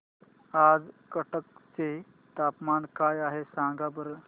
आज कटक चे तापमान काय आहे सांगा बरं